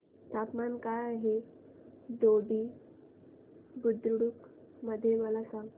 तापमान काय आहे दोडी बुद्रुक मध्ये मला सांगा